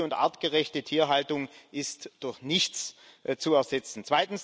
Eine gute und artgerechte Tierhaltung ist durch nichts zu ersetzen.